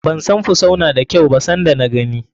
Ban san fusau na da kyau ba san da na gani.